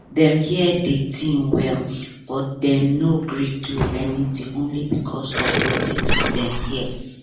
dem hear di tin well but dem no gree do anything only because of watin dem hear